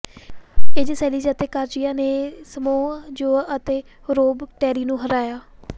AJ Styles ਅਤੇ Kazarian ਨੇ Samoa Joe ਅਤੇ ਰੋਬ ਟੈਰੀ ਨੂੰ ਹਰਾਇਆ